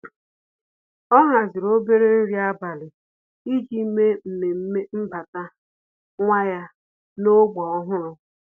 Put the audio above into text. Ọ́ hàzị̀rị̀ obere nrí ábàlị̀ iji mèé mmemme mbata nwa ya n’ógbè ọ́hụ́rụ́.